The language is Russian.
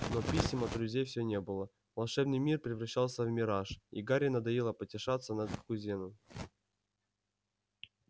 но писем от друзей всё не было волшебный мир превращался в мираж и гарри надоело потешаться над кузином